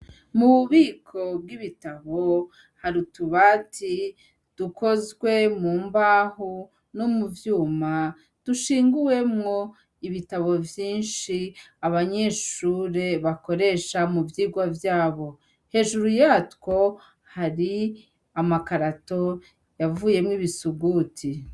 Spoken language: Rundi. Mu bubiko bwibitabo, hari ububati dukozwe mu mbaho no mu vyuma dushinguwemwo ibitabo vyinshi abanyeshure bakoresha mu vyirwa vyabo. Hejuru yatwo hari amakarato yavuyemwo ibisuguti.